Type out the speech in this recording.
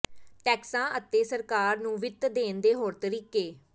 ਟੈਕਸਾਂ ਅਤੇ ਸਰਕਾਰ ਨੂੰ ਵਿੱਤ ਦੇਣ ਦੇ ਹੋਰ ਤਰੀਕੇ